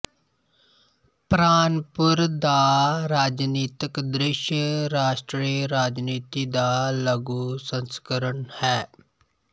ਪਰਾਨਪੁਰ ਦਾ ਰਾਜਨੀਤਕ ਦ੍ਰਿਸ਼ ਰਾਸ਼ਟਰੀ ਰਾਜਨੀਤੀ ਦਾ ਲਘੂ ਸੰਸਕਰਣ ਹੈ